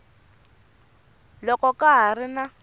loko ka ha ri na